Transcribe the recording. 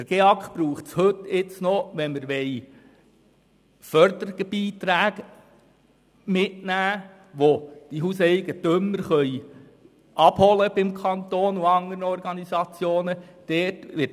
Den GEAK braucht es heute noch, wenn der Hauseigentümer beim Kanton und bei anderen Organisationen Förderbeiträge abholen will.